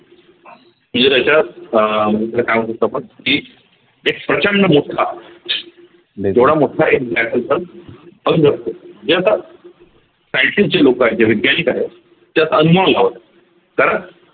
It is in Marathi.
म्हणजे त्याच्यात अह काय म्हणतात आपण की एक प्रचंड मोठा मोठा एक black hole पण जे आता scientist जे लोक आहे जे वैज्ञानिक आहे कारण